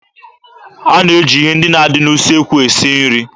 A na-eji ihe ndị na-adị n'usekwu esi nri.